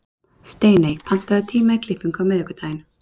Steiney, pantaðu tíma í klippingu á miðvikudaginn.